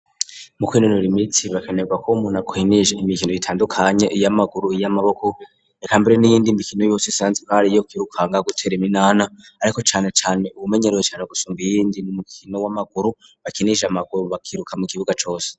Mu kwinonora imitsi hakenerwa ko umuntu akina imikino itandukanye iy'amaguru, iy'amaboko ekambere n'iyindi imikino yose isanzwe ko ariyo kwirukanga, gutera iminana ariko cane cane uwumenyerewe cane gusumba iyindi n'umukino w'amaguru bakinisha amaguru bakiruka mu kibuga cose.